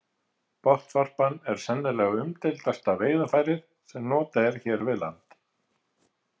Botnvarpan er sennilega umdeildasta veiðarfærið sem notað er hér við land.